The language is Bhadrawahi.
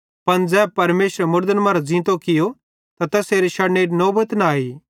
पन ज़ै यीशु मसीह परमेशरे मुड़दन मरां ज़ींतो कियो त तैसेरे शड़नेरी नौबत न आई